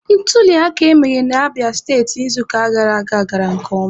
Ntuliaka emere na Abịa steti n'izuụka gara aga gara nke ọma.